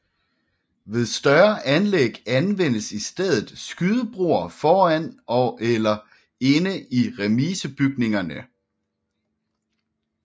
Ved større anlæg anvendes i stedet skydebroer foran eller inde i remisebygningerne